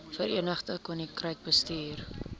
verenigde koninkryk bestuur